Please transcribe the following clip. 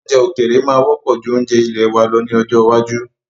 Oúnjẹ òkèèrè máa wọ́pọ̀ ju oúnjẹ ilèe wa lọ ní ọjọ́ iwájú.